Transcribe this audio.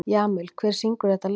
Jamil, hver syngur þetta lag?